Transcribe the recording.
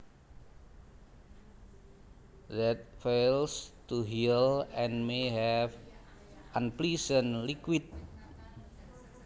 that fails to heal and may have unpleasant liquid